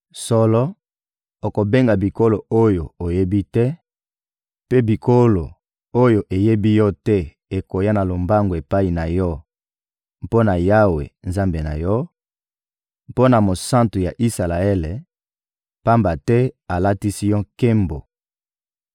Solo, okobenga bikolo oyo oyebi te, mpe bikolo oyo eyebi yo te ekoya na lombangu epai na yo mpo na Yawe, Nzambe na yo, mpo na Mosantu ya Isalaele, pamba te alatisi yo nkembo.»